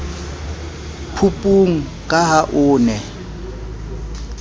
phupung ka ha o ne